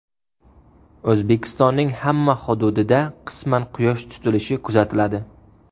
O‘zbekistonning hamma hududida qisman Quyosh tutilishi kuzatiladi.